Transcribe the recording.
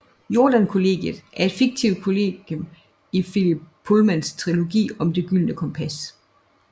Jordan Kollegiet er et fiktivt kollegium i Philip Pullmans trilogi om Det Gyldne Kompas